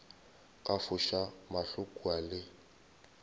ka foša mahlo kua le